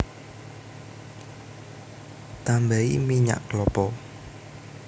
Tambahi minyak klapa